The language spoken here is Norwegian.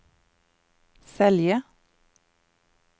Selje